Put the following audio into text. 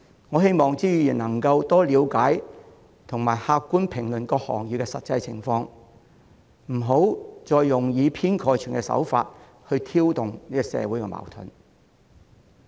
我希望朱議員能夠多了解和客觀評論各行業的實際情況，不要再用以偏概全的手法挑動社會矛盾。